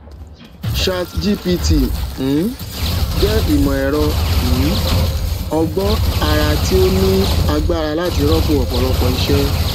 chatgpt um jẹ ìmọ ẹrọ um ọgbọn àrà tí ó ní agbára láti rọpò ọpọlọpọ iṣẹ